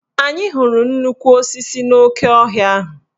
Anyị hụrụ nnukwu osisi n'oke ọhịa ahụ.